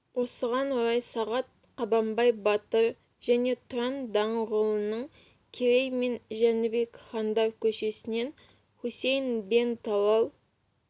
осыған орай сағат қабанбай батыр және тұран даңғылының керей мен жәнібек хандар көшесінен хусейн бен талал